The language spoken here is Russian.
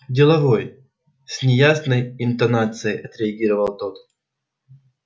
деловой с неясной интонацией отреагировал тот